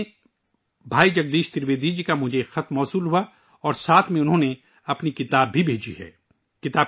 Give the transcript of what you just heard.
حال ہی میں مجھے بھائی جگدیش ترویدی جی کا ایک خط ملا ہے اور اس کے ساتھ انہوں نے اپنی ایک کتاب بھی بھیجی ہے